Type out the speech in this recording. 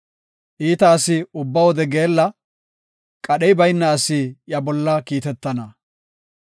Iita asi ubba wode geella; qadhey bayna asi iya bolla kiitetana.